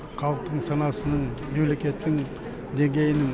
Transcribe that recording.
халықтың санасының мемлекеттің деңгейін